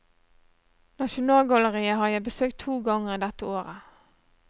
Nasjonalgalleriet har jeg besøkt to ganger dette året.